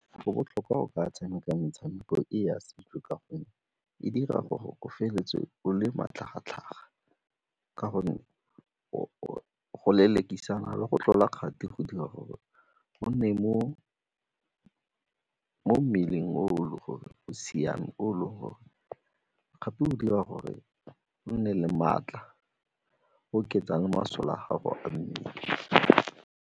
Go botlhokwa go ka tshameka metshameko e ya setso ka gonne e dira gore o feleletse o le matlhagatlhaga ka gore go lelekisana le go tlola kgati go dira gore mo mmeleng o e le gore o siame gape go dira gore o nne le maatla, oketsang masole a gago a mmele.